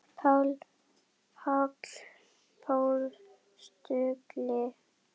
Páll postuli?